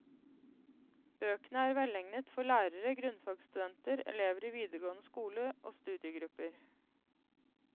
Bøkene er velegnet for lærere, grunnfagsstudenter, elever i videregående skole og studiegrupper.